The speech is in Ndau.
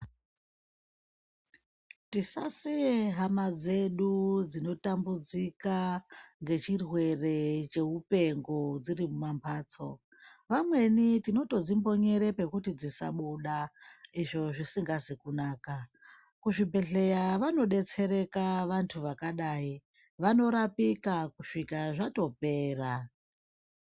Tisasiye hama dzedu dzinotambudzika ngechirwere cheupengo dziri mumambatso. Vamweni tinotodzimbonyere pekuti dzisabuda, izvo zvisingazi kunaka. Kuzvibhedhleya vanodetsereka vantu vakadai. Vanorapika kusvika zvatopera.